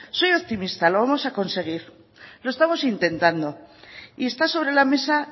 soy optimista lo vamos a conseguir lo estamos intentando y está sobre la mesa